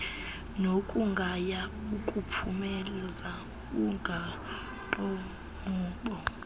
nokugaya ukuphumeza umgaqonkqubo